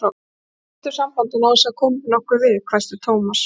Við slitum sambandinu, án þess að það komi þér nokkuð við, hvæsti Thomas.